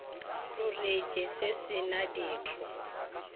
rusitše se se na ditho